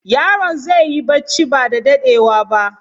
Yaron zai yi barci ba da daɗewa ba.